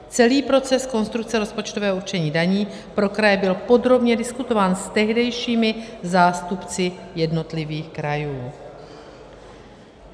Celý proces konstrukce rozpočtového určení daní pro kraje byl podrobně diskutován s tehdejšími zástupci jednotlivých krajů.